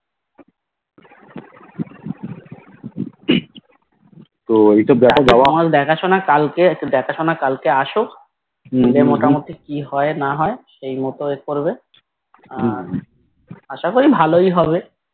তো এইটা